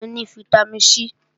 Ọsàn ni fítámìn C